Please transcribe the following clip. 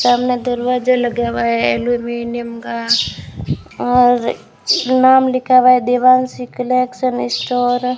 सामने दरवाजा लगा हुआ है अल्युमिनियम का और नाम लिखा हुआ है देवांशी कलेक्शन स्टोर ।